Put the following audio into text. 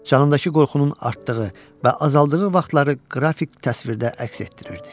Canındakı qorxunun artdığı və azaldığı vaxtları qrafik təsvirdə əks etdirirdi.